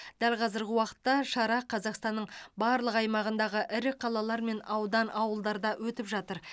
дәл қазіргі уақытта шара қазақстанның барлық аймағындағы ірі қалалар мен аудан ауылдарда өтіп жатыр